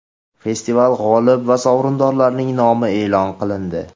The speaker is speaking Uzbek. Festival g‘olib va sovrindorlarining nomi e’lon qilindi.